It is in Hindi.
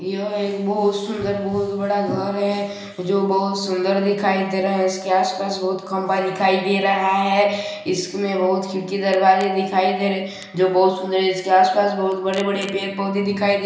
यह एक बहुत सुंदर बहुत बड़ा घर है जो बहुत सुंदर दिखाई दे रहा है इसके आसपास बहुत खंबा दिखाई दे रहा है इसमें बहुत खिड़की दरवाजे दिखाई दे रहे हैं जो की बहुत सुंदर इसके आसपास बहुत बड़े बड़े पेड़ पौधे दिखाई दे रहे हैं।